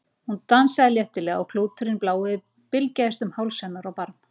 Hún dansaði léttilega og klúturinn blái bylgjaðist um háls hennar og barm.